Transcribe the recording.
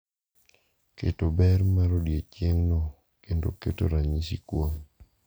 Keto ber mar odiechieng’no kendo keto ranyisi kuome